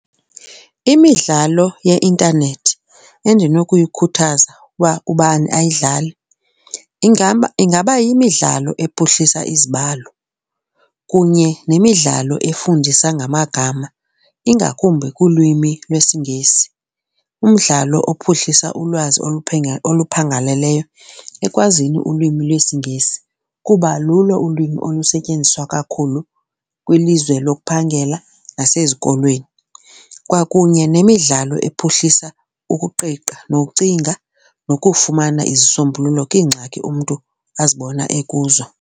Imidlalo yeintanethi endinokuyikhuthaza uba ubani ayidlale ingaba ingaba yimidlalo ephuhlisa izibalo kunye nemidlalo efundisa ngamagama ingakumbi kulwimi lwesiNgesi, umdlalo ophuhlisa ulwazi oluphangaleleyo ekwazini ulwimi lwesiNgesi kuba lulo ulwimi olusetyenziswa kakhulu kwilizwe lokuphangela nasezikolweni. Kwakunye nemidlalo ephuhlisa ukuqiqa nokucinga nokufumana izisombululo kwiingxaki umntu azibona ekuzo.